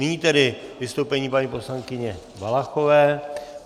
Nyní tedy vystoupení paní poslankyně Valachové.